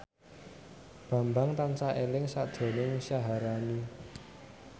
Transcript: Bambang tansah eling sakjroning Syaharani